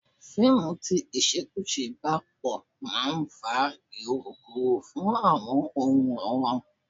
Fíìmù tí ìṣekúṣe bá pò máa ń fa irokuro fún àwọn onworan.